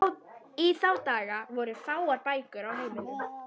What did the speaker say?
Í þá daga voru fáar bækur á heimilum.